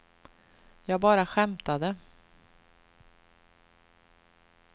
jag bara skämtade